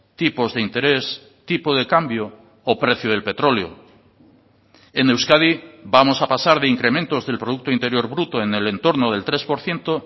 tipos de interés tipo de cambio o precio del petróleo en euskadi vamos a pasar de incrementos del producto interior bruto en el entorno del tres por ciento